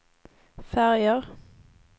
färger